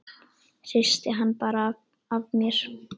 Hristi hann bara af mér.